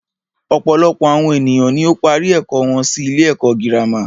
Ọ̀pọ̀lọpọ̀ àwọn ènìyàn ni ó ń parí ẹ̀kọ́ wọn sí ilé ẹ̀kọ́ gírámà.